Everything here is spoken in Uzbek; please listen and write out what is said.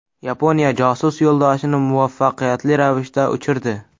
Yaponiya josus yo‘ldoshini muvaffaqiyatli ravishda uchirdi.